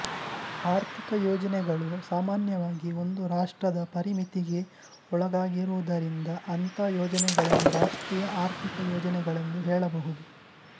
ಆರ್ಥಿಕ ಯೋಜನೆಗಳು ಸಾಮಾನ್ಯವಾಗಿ ಒಂದು ರಾಷ್ಟ್ರದ ಪರಿಮಿತಿಗೆ ಒಳಗಾಗಿರುವುದರಿಂದ ಅಂಥ ಯೋಜನೆಗಳನ್ನು ರಾಷ್ಟ್ರೀಯ ಆರ್ಥಿಕ ಯೋಜನೆಗಳೆಂದು ಹೇಳಬಹುದು